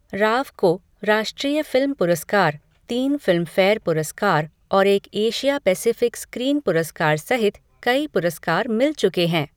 राव को राष्ट्रीय फिल्म पुरस्कार, तीन फिल्मफेयर पुरस्कार और एक एशिया पेसिफिक स्क्रीन पुरस्कार सहित कई पुरस्कार मिल चुके हैं।